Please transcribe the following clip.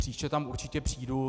Příště tam určitě přijdu.